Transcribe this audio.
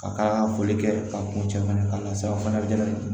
Ka ka foli kɛ ka kuncɛ fana ka na se a fana bɛ